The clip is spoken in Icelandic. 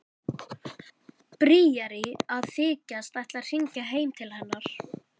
Bríarí að þykjast ætla að hringja heim til hennar.